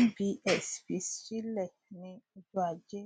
nbs fi sílẹ ní ọjọajé